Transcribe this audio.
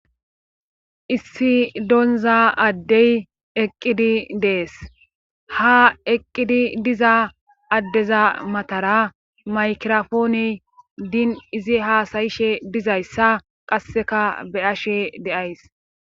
Issi doonza addey eqqidi dees ha eqqidi diza addeza matara maykirofoone diin izi haasayishe dizayssa qasseka be ashe deays